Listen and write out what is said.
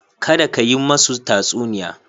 Kada ka yi masu tatsuniya.